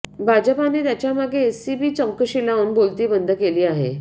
भाजपाने त्यांच्यामागे एसीबी चौकशी लावून बोलती बंद केली आहे